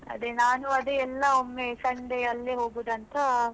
ಅದೇ ನಾನು ಅದೇ ಎಲ್ಲಾ ಒಮ್ಮೆ Sunday ಅಲ್ಲೇ ಹೋಗುದಂತ.